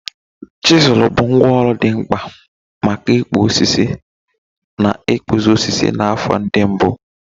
Chizul bụ ngwá ọrụ dị mkpa maka ịkpụ osisi na ịkpụzi osisi na afọ ndị mbụ.